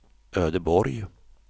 Ödeborg